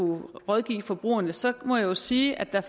rådgive forbrugerne så må jeg jo sige at der